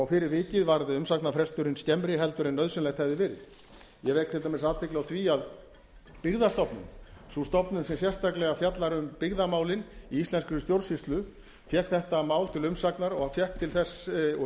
fyrir vikið var umsagnarfresturinn skemmri heldur en nauðsynlegt hefði verið ég vek til dæmis athygli á því að byggðastofnun sú stofnun sem sérstaklega fjallar um byggðamálin í íslenskri stjórnsýslu fékk þetta mál til umsagnar og